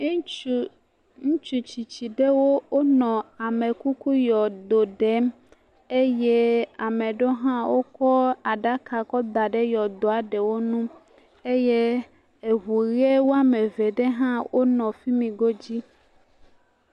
eŋutsu ŋutsu metsitsi ɖewo wónɔ amekuku yɔdo ɖem eye ame ɖɛwo hã wókɔ aɖaka kɔ da ɖe yɔdoɔ ɖewo nu eye eʋu ɣɛ wɔameve ɖe hã wónɔ fimi godzi